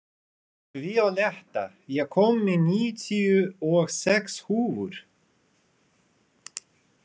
Víóletta, ég kom með níutíu og sex húfur!